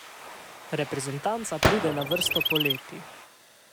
Reprezentanca pride na vrsto poleti.